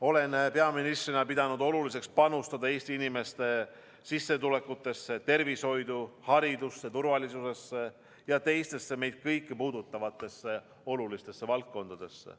Olen peaministrina pidanud oluliseks panustada Eesti inimeste sissetulekutesse, tervishoidu, haridusse, turvalisusesse ja teistesse meid kõiki puudutavatesse olulistesse valdkondadesse.